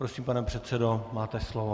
Prosím, pane předsedo, máte slovo.